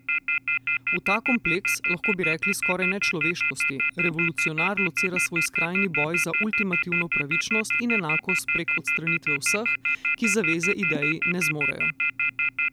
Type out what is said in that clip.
V ta kompleks, lahko bi rekli skoraj nečloveškosti, revolucionar locira svoj skrajni boj za ultimativno pravičnost in enakost prek odstranitve vseh, ki zaveze ideji ne zmorejo.